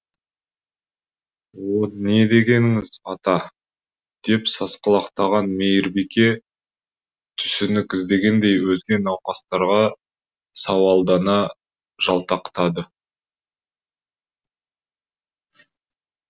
о не дегеніңіз ата деп сасқалақтаған мейірбике түсінік іздегендей өзге науқастарға сауалдана жалтақтады